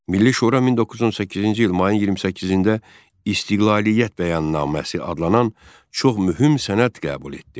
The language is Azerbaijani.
Milli Şura 1918-ci il mayın 28-də İstiqlaliyyət Bəyannaməsi adlanan çox mühüm sənəd qəbul etdi.